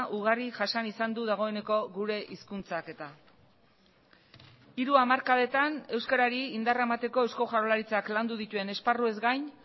ugari jasan izan du dagoeneko gure hizkuntzak eta hiru hamarkadetan euskarari indarra emateko eusko jaurlaritzak landu dituen esparruez gain